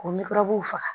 K'o w faga